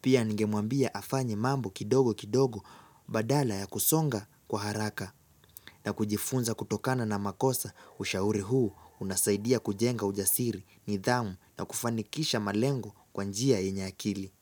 Pia ningemwambia afanye mambo kidogo kidogo badala ya kusonga kwa haraka na kujifunza kutokana na makosa ushauri huu unasaidia kujenga ujasiri, nidhamu na kufanikisha malengo kwa njia yenye akili.